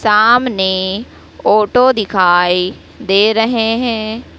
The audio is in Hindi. सामने ऑटो दिखाई दे रहे है।